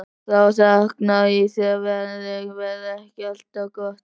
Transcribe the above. Þá þykknaði í þér: Veðrið verður ekki alltaf gott.